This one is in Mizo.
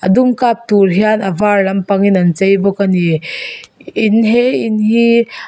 a dum kap tur hian a var lampangin an chei bawk ani in he in hi.